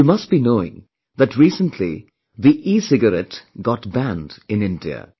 You must be knowing that, recently the ecigarette got banned in India